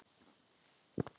Rakel og Thomas.